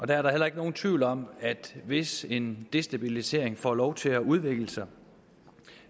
der er da heller ikke nogen tvivl om at hvis en destabilisering får lov til at udvikle sig